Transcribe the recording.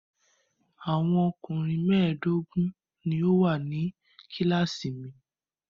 Àwọn ọkùnrin mẹ́ẹ̀dógún ni ó wà ní kíláàsì mi.